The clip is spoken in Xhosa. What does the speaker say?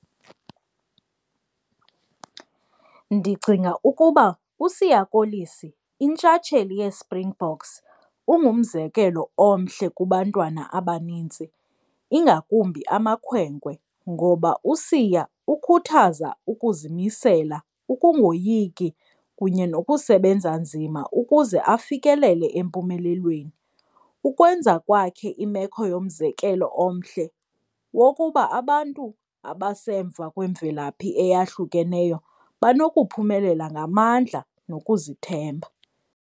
Ndicinga ukuba uSiya Kolisi intshatsheli yeSpringboks ungumzekelo omhle kubantwana abanintsi ingakumbi amakhwenkwe, ngoba uSiya ukhuthaza ukuzimisela, ukungoyiki kunye nokusebenza nzima ukuze afikelele empumelelweni. Ukwenza kwakhe imeko yomzekelo omhle wokuba abantu abasemva kwemvelaphi eyahlukeneyo banokuphumelela ngamandla nokuzithemba.